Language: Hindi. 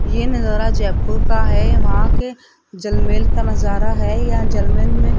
ये नजारा जयपुर का है। वहां के जलमैर का नजारा हैं यहां जलमैर में--